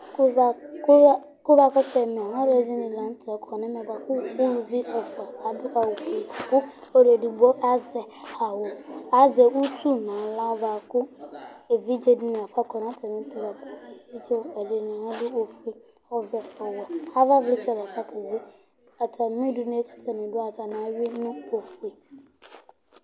Alʋɛdìní la ntɛ kɔ nʋ ɛmɛ bʋakʋ ʋlʋvi ni ɛfʋa adu awu ɔfʋe kʋ ɔlu ɛdigbo azɛ awu, azɛ ʋtu nʋ aɣla bʋakʋ evidze dìní lafa kɔ nʋ atami ɛtu lakʋ evidze wani ɛdiní adʋ ɔfʋe, ɔvɛ, ɔwɛ Ava vlitsɛ lafa keze Atami ʋdʋnu kʋ atani du yɛ'a, atani awʋi nʋ ɔfʋe